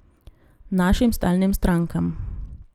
Našim stalnim strankam.